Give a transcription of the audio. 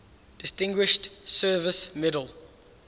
distinguished service medal